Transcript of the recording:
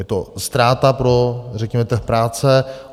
Je to ztráta pro, řekněme, trh práce.